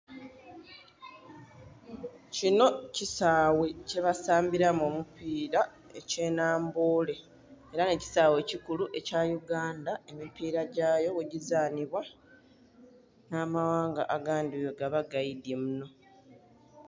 Kinho kisaghe kye basambilamu omupila ekye namboole era nhe kisaghe ekikulu ekya uganda emipira gyayo ghegizanhibwa nha maghanga agandhi bwegaba gaidhye munho.